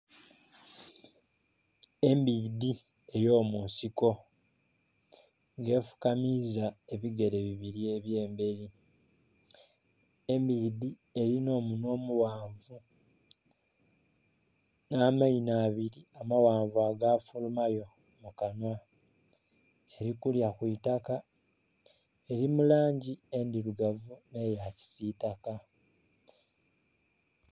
Embidhi ey'omunsiko ng'efukamiiza ebigere bibiri eby'emberi. Embidhi elina omunhwa omughanvu. Nh'amaino abiri amaghanvu agafulumayo mu kanhwa. Eli kulya ku itaka, eli mu langi endhirugavu nh'eya kisitaka.